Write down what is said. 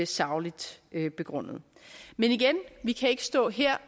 sagligt begrundet men igen vi kan ikke stå her